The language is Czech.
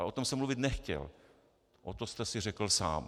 Ale o tom jsem mluvit nechtěl, o to jste si řekl sám.